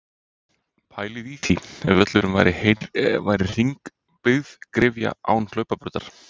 Pælið í því ef völlurinn væri hringbyggð gryfja án hlaupabrautar?